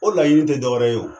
O laɲini te dɔwɛrɛ ye o